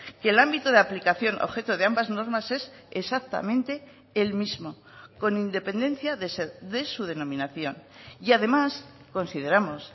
que el ámbito de aplicación objeto de ambas normas es exactamente el mismo con independencia de su denominación y además consideramos